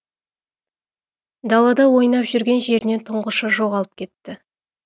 далада ойнап жүрген жерінен тұңғышы жоғалып кетті